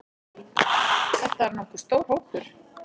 Þetta er nokkuð stór hópur.